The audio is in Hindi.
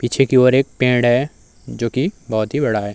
पीछे की ओर एक पैड है जोकि बहोत ही बड़ा है।